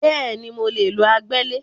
Bẹ́ẹ̀ni, mo lè lo agbẹ́lẹ̀